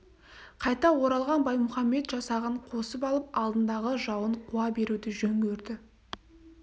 қайта оралған баймұхамед жасағын қосып алып алдындағы жауын қуа беруді жөн көрді